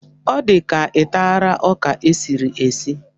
Ọ di ka ị tara ọka e siri esi?